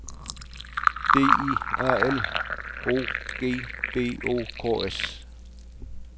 D I A L O G B O K S